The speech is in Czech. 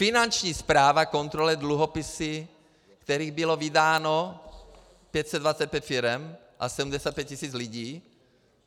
Finanční správa kontroluje dluhopisy, kterých bylo vydáno 525 firem a 75 tis. lidí.